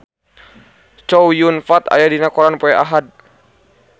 Chow Yun Fat aya dina koran poe Ahad